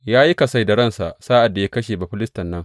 Ya yi kasai da ransa sa’ad da ya kashe Bafilistin nan.